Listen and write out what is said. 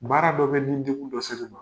Baara dɔ bɛ ma.